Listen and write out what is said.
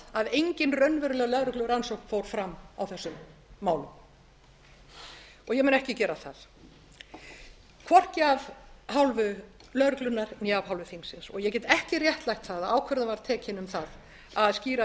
að enginn raunveruleg lögreglurannsókn fór fram á þessum málum og ég mun ekki gera það hvorki af hálfu lögreglunnar né af hálfu þingsins og ég get ekki réttlætt það að ákvörðun var tekin um það að skýra